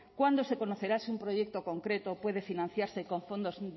cuándo se conocerá si un proyecto concreto puede financiarse con fondos